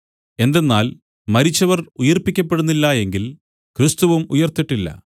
എന്തെന്നാൽ മരിച്ചവർ ഉയിർപ്പിക്കപ്പെടുന്നില്ല എങ്കിൽ ക്രിസ്തുവും ഉയിർത്തിട്ടില്ല